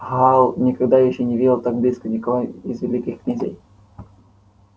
гаал никогда ещё не видел так близко никого из великих князей